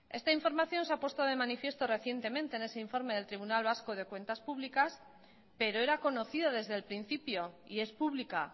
esta información se ha puesto de manifiesto recientemente en ese informe del tribunal de vasco de cuentas públicas pero era conocido desde el principio y es pública